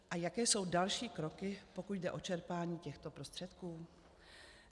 A jaké jsou další kroky, pokud jde o čerpání těchto prostředků?